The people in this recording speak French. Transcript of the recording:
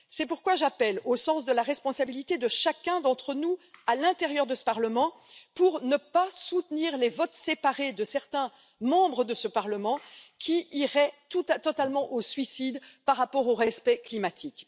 C'est pourquoi j'en appelle au sens de la responsabilité de chacun d'entre nous au sein de ce Parlement, pour ne pas soutenir les votes séparés de certains membres de ce Parlement, qui iraient totalement au suicide par rapport au respect climatique.